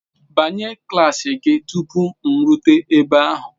Banye klaasị gị tupu m erute ebe ahụ.